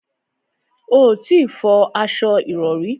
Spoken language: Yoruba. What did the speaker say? O ò tí ì fọ aṣo ìrọrí